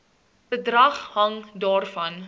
bedrag hang daarvan